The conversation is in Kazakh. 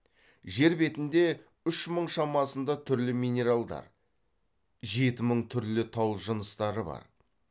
жер бетінде үш мың шамасында түрлі минералдар жеті мың түрлі тау жыныстары бар